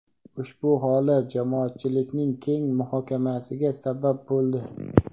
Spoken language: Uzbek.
Ushbu holat jamoatchilikning keng muhokamasiga sabab bo‘ldi.